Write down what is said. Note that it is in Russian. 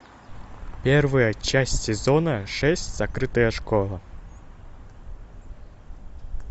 первая часть сезона шесть закрытая школа